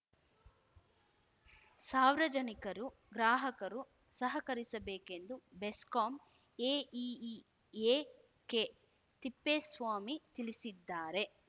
ಸಾರ್ವಜನಿಕರು ಗ್ರಾಹಕರು ಸಹಕರಿಸಬೇಕೆಂದು ಬೆಸ್ಕಾಂ ಎಇಇ ಎಕೆತಿಪ್ಪೇಸ್ವಾಮಿ ತಿಳಿಸಿದ್ದಾರೆ